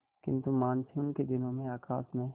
किंतु मानसून के दिनों में आकाश में